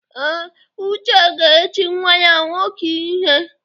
Ee, Uche ga-eti nwanne ya nwoke ihe.